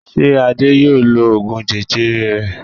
Ṣé Adé yóò lo oògùn jẹjẹrẹ rẹ̀?